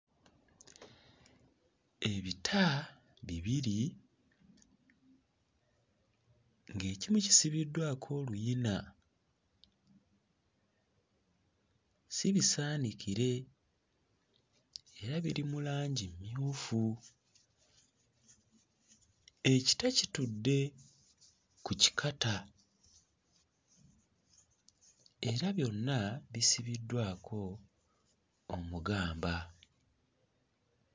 Ebita bibiri ng'ekimu kisibiddwako oluyina si bisaanikire era biri mu langi mmyufu. Ekita kitudde ku kikata era byonna bisibiddwako omugamba.